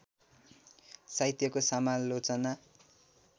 साहित्यको समालोचना